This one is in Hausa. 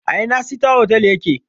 A ina sita hotal ya ke?